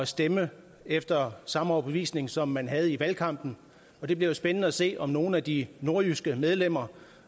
stemme efter samme overbevisning som man havde i valgkampen og det bliver jo spændende at se om nogle af de nordjyske medlemmer